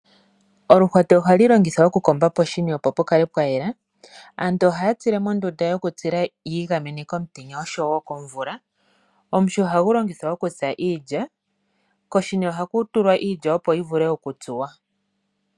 Oluhwati ohalu longithwa okukomba poshini, opo pu kale pwa yela. Aantu ohaya tsile mondunda yokutsila, yi igamene komutenya oshowo komvula, omuhi ohagu longithwa okutsa iilya, koshini ohaku tulwa iilya, opo yi vule okutsuwa.